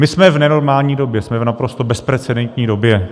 My jsme v nenormální době, jsme v naprosto bezprecedentní době.